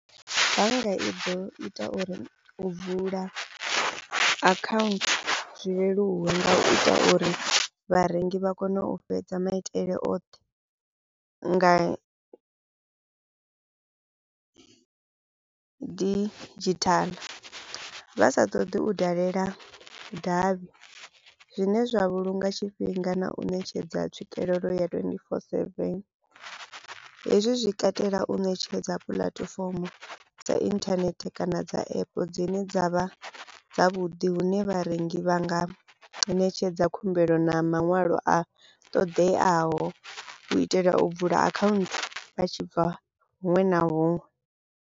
Bannga i ḓo ita uri u vula akhaunthu zwi leluwe nga u ita uri vharengi vha kone u fhedza maitele oṱhe nga didzhithaḽa vha sa ṱoḓi u dalela davhi zwine zwa vhulunga tshifhinga na u ṋetshedza tswikelelo ya twenty four seven, hezwi zwi katela u ṋetshedza puḽatifomo dza internet kana dza app dzine dza vha dzavhuḓi hune vharengi vha nga ṋetshedza khumbelo na maṅwalo a ṱoḓeaho u itela u vula account vha tshibva huṅwe na huṅwe.